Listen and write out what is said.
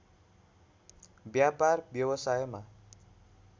व्यापार व्यवसायमा